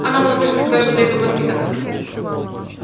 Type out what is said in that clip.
она была слишком хорошо для этого воспитана